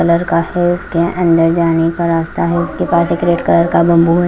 Colour का है उसके अंदर जाने का रास्ता है उसके पास एक रेड कलर का बम्बू है।